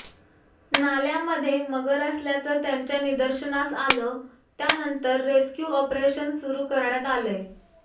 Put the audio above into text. नाल्यामध्ये मगर असल्याचं त्यांच्या निदर्शनास आलं त्यानंतर रेस्क्यू ऑपरेशन सुरू करण्यात आलंय